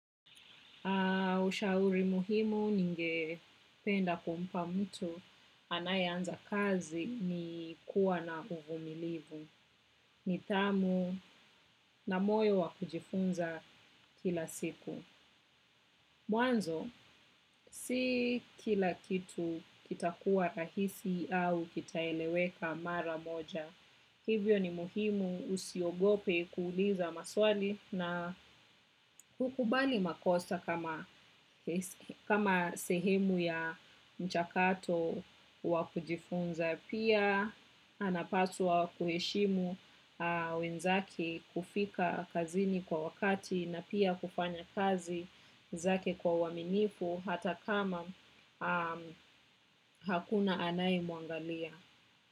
Ushauri muhimu ninge penda kumpa mtu anayeanza kazi ni kuwa na uvumilivu, nidhamu na moyo wakujifunza kila siku. Mwanzo si kila kitu kitakuwa rahisi au kitaeleweka mara moja. Hivyo ni muhimu usiogope kuuliza maswali na kukubali makosa kama sehemu ya mchakato wakujifunza. Pia anapaswa kuheshimu wenzake kufika kazini kwa wakati na pia kufanya kazi zake kwa waminifu hata kama hakuna anayemwangalia.